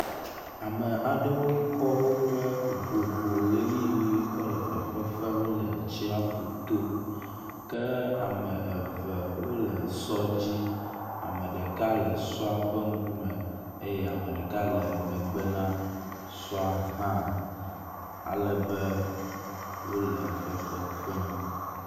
Ame aɖewo kɔ woƒe vovo ʋetiʋi kɔ le fefefem le tsaƒu to kea me eve wo le sɔ dzi ame ɖeka le sɔ ƒe ŋku me eye ame ɖeka le megbe na sɔ hã ale be wo le fefefem.